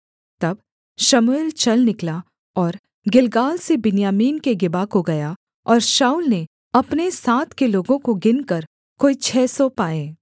तब शमूएल चल निकला और गिलगाल से बिन्यामीन के गिबा को गया और शाऊल ने अपने साथ के लोगों को गिनकर कोई छः सौ पाए